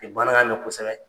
Nin baara in na kosɛbɛ.